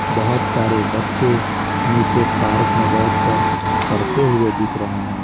बहुत सारे बच्चे नीचे पार्क में बैठकर पढ़ते हुए दिख रहे हैं।